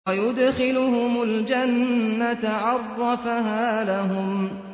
وَيُدْخِلُهُمُ الْجَنَّةَ عَرَّفَهَا لَهُمْ